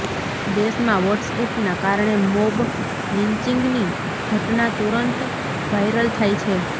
દેશમાં વોટ્સએપના કારણે મોબ લિંન્ચિંગની ઘટના તુરંત વાયરલ થાય છે